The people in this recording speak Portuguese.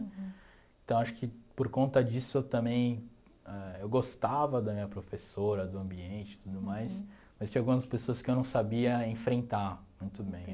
Então, acho que por conta disso eu também ãh... Eu gostava da minha professora, do ambiente e tudo mais, mas tinha algumas pessoas que eu não sabia enfrentar muito bem